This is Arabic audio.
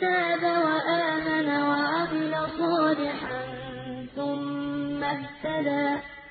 تَابَ وَآمَنَ وَعَمِلَ صَالِحًا ثُمَّ اهْتَدَىٰ